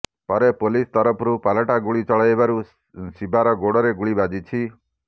ପରେ ପୋଲିସ ତରଫରୁ ପାଲଟା ଗୁଳି ଚଳାଇବାରୁ ଶିବାର ଗୋଡ଼ରେ ଗୁଳି ବାଜିଛି